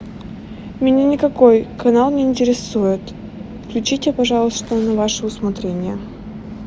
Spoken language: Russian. меня никакой канал не интересует включите пожалуйста на ваше усмотрение